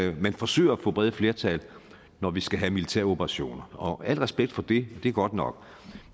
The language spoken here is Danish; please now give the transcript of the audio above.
at man forsøger at få brede flertal når vi skal have militæroperationer og al respekt for det det er godt nok